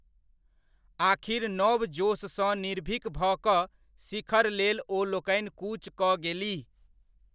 आख़िर नव जोशसँ निर्भीक भऽ कऽ शिखर लेल ओ लोकनि कूच कऽ गेलीह।